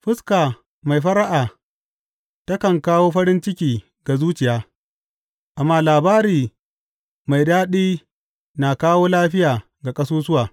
Fuska mai fara’a takan kawo farin ciki ga zuciya, kuma labari mai daɗi na kawo lafiya ga ƙasusuwa.